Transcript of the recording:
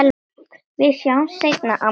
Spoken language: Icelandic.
Við sjáumst seinna, amma mín.